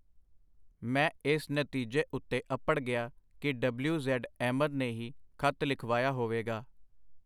ਮੈਂ ਇਸ ਨਤੀਜੇ ਉਤੇ ਅਪੜ ਗਿਆ ਕਿ ਡਬਲਯੂ. ਜ਼ੈਡ. ਅਹਿਮਦ ਨੇ ਹੀ ਖਤ ਲਿਖਵਾਇਆ ਹੋਵੇਗਾ.